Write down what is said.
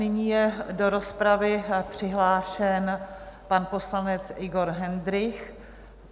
Nyní je do rozpravy přihlášen pan poslanec Igor Hendrych.